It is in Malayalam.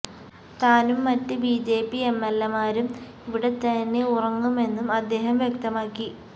താനും മറ്റ് B J P M L എമാരും ഇവിടെത്തന്നെ ഉറങ്ങുമെന്നും അദ്ദേഹം വ്യക്തമാക്കി